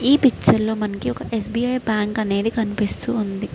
ఈ పిక్చర్ లో మనకి ఒక ఏస్.బి.ఐ. బ్యాంకు అనేది కనిపిస్తు ఉంది.